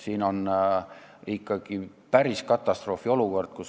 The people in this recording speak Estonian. Siin on ikkagi päris katastroofiolukord.